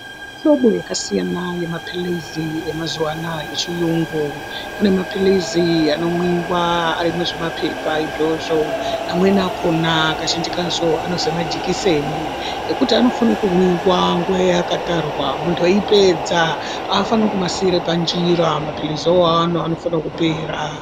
Hlobo yakasiyana yeampilizi emazuwa anaya echiyungu . Kune mapilizi anomwiwa ari muzvimapepa izvozvo amweni akona kazhinji kacho anozi majikiseni ekuti anofane kumwiwa nguwa yaakatarwa muntu eyipedza aafaniri kumasiire panjira, mapilizi awawo anofanire kupera.